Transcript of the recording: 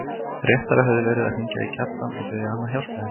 Réttara hefði verið að hringja í Kjartan og biðja hann að hjálpa henni.